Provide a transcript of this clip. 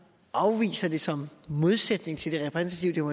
afviser det som en modsætning til det repræsentative